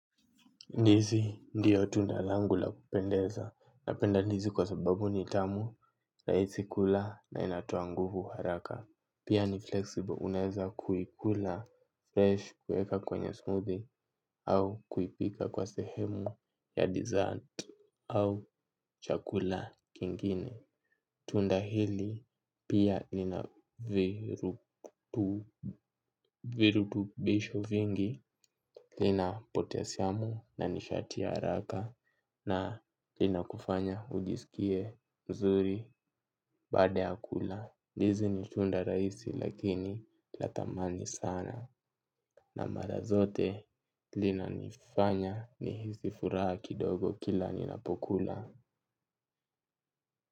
Ndizi ndiyo tunda langu la kupendeza napenda ndizi kwa sababu ni tamu, rahisi kula na inatoa nguvu haraka. Pia ni flexible unaweza kuikula fresh kuweka kwenye smoothie au kuipika kwa sehemu ya dessert au chakula kingine. Tunda hili pia lina virutubisho vingi. Lina potasiamu na nishati ya haraka. Na linakufanya ujisikie mzuri baada ya kula ndizi ni tunda rahisi lakini la thamani sana. Na mara zote linanifanya nihisi furaha kidogo kila ninapokula.